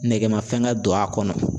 Nɛgɛmafɛn don a kɔnɔ.